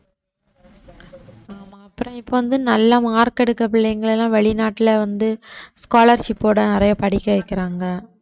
ஆமா அப்புறம் இப்ப வந்து நல்லா mark எடுக்க பிள்ளைங்களை எல்லாம் வெளிநாட்டுல வந்து scholarship ஓட நிறைய படிக்க வைக்கிறாங்க